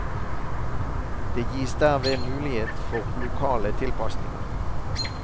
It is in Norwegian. Det gis derved mulighet for lokale tilpasninger.